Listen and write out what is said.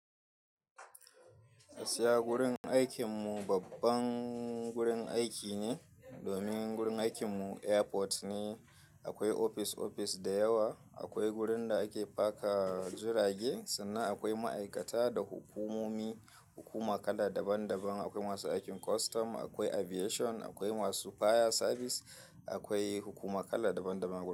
Gaskiya gurin aikin mu babban gurin aiki ne domin gurin aikin mu airport ne. Akwai ofis-ofis da yawa, akwai gurin da ake parkar jirage sannan akwai ma'aikata da hukumomi, hukuma kala daban daban. Akwai masu aikin custom, akwai aviation, akwai masu fire service, akwai hukuma kala daban daban.